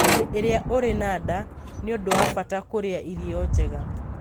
Hĩndĩ ĩrĩa ũrĩ na nda, nĩ ũndũ wa bata kũrĩa irio njega.